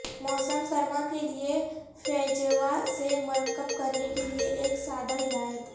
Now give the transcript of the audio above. موسم سرما کے لئے فیجیوا سے مرکب کرنے کے لئے ایک سادہ ہدایت